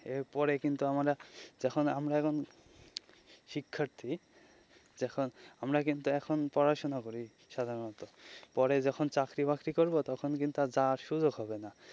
এরপরে কিন্তু আমরা যখন আমরা এখন শিক্ষার্থী তো আমরা কিন্তু এখন পড়াশোনা করি সাধারণত পরে যখন চাকরি বাকরি করবো তখন কিন্তু আর যাওয়ার সুযোগ হবে না.